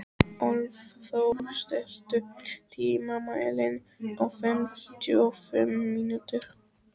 Álfþór, stilltu tímamælinn á fimmtíu og fimm mínútur.